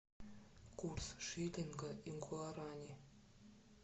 курс шиллинга и гуарани